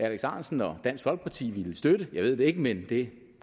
alex ahrendtsen og dansk folkeparti ville støtte det jeg ved det ikke men det